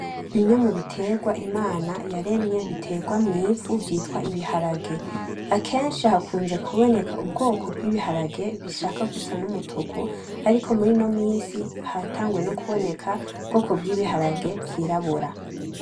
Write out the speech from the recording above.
Bimwe mubiterwa Imana yaremye biterwa mw'ivu vyitwa ibiharage, akenshi hakuze kubona ubwoko bw'ibiharage vyishaka Gusa N’umutuka ariko murino misi hataguye kubona ubwoko bw'ibiharage vy'irabura.